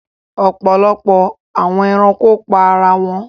Ọpọlọpọ awọn ẹranko pa ara wọn